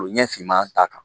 Olu ɲɛ finma ta kan